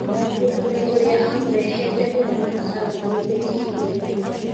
Mũthuri ũrĩa amũrehete mũthamaki arũgamĩte kĩhingoinĩ.